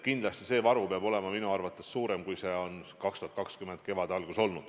Kindlasti nende varu peab olema suurem, kui see 2020. aasta kevade alguses oli.